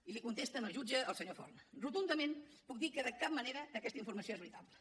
i li contesta al jutge el senyor forn rotundament puc dir que de cap manera aquesta informació és veritable